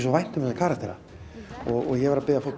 vænt um þessa karaktera ég verð að biðja fólk